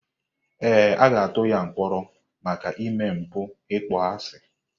Ee, a ga-atụ ya mkpọrọ maka ime mpụ ịkpọasị.